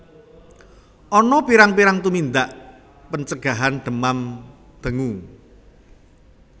Ana pirang pirang tumindak pencegahan demam dengue